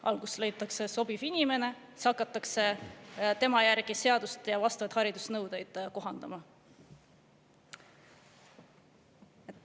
Alguses leitakse sobiv inimene ning siis hakatakse tema järgi seadust ja vastavaid haridusnõudeid kohandama.